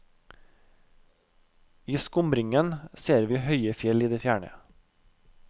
I skumringen ser vi høye fjell i det fjerne.